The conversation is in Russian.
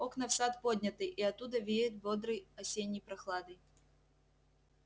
окна в сад подняты и оттуда веет бодрой осенней прохладой